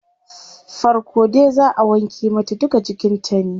Farko dai zaa wanke mata duka jikin ta ne